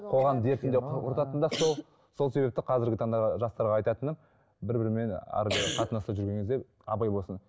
қоғам дертін де құртатын да сол сол себепті қазіргі таңда жастарға айтатыным бір бірімен қарым қатынаста жүрген кезде абай болсын